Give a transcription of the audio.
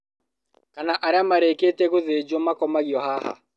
Kana arĩa marĩkĩtie gũthĩnjwo makomagio haha